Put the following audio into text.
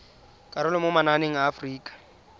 karolo mo mananeng a aforika